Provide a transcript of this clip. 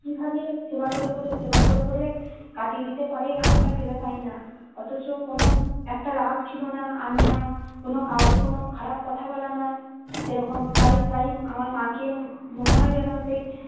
কি ভাবে সেবা করে করে সেবা করে করে কাটিয়ে দিতে পারে আমরা ভেবে পাইনা অথচ কোনো একটা রাগ ছিল না আর না কোনো কাউকে কোনো খারাপ কথা বলা নয় সেরকম তাই তাই আমার মা কে মনে হয় যেন সেই